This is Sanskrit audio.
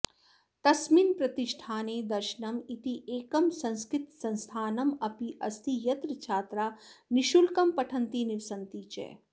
तस्मिन् प्रतिष्ठाने दर्शनम् इति एकं संस्कृतसंस्थानम् अप्यस्ति यत्र छात्रा निःशुल्कं पठन्ति निवसन्ति च